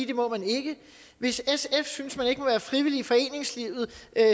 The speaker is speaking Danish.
det må man ikke hvis sf synes at man ikke må være frivillig i foreningslivet